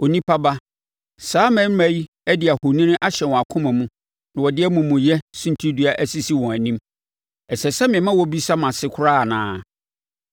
“Onipa ba, saa mmarimma yi de ahoni ahyɛ wɔn akoma mu na wɔde amumuyɛ suntidua asisi wɔn anim. Ɛsɛ sɛ mema wɔbisa mʼase koraa anaa?